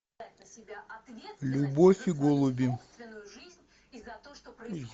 любовь и голуби